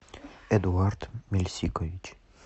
эдуард мельсикович